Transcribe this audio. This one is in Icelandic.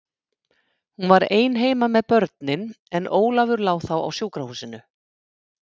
Hún var ein heima með börnin, en Ólafur lá þá á sjúkrahúsinu.